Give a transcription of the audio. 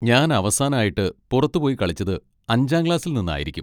ഞാൻ അവസാനായിട്ട് പുറത്ത് പോയി കളിച്ചത് അഞ്ചാം ക്ലാസ്സിൽ നിന്ന് ആയിരിക്കും.